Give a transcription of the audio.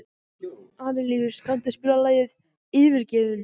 Arilíus, kanntu að spila lagið „Yfirgefinn“?